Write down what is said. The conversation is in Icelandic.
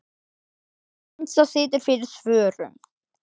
Hansa situr fyrir svörum.